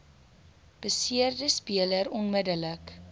beseerde speler onmiddellik